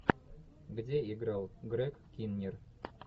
где играл грег киннер